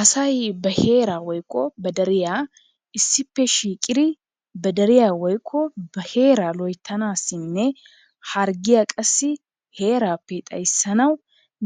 Asay ba heeraa woykko ba deriya issippe shiiqidi ba deriya woykko ba heeraa loyttanaasinne harggiya qassi heeraappe xayssanawu